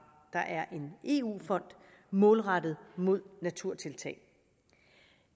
der er en eu fond målrettet mod naturtiltag